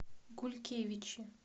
гулькевичи